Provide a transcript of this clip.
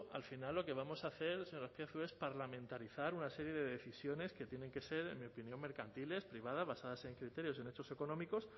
al final lo que vamos a hacer señor azpiazu es parlamentarizar una serie de decisiones que tienen que ser en mi opinión mercantiles privadas basadas en criterios y en hechos económicos